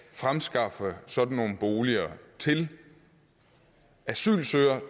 fremskaffe sådanne boliger til asylansøgere